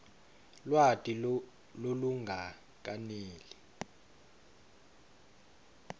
lwati lolungakeneli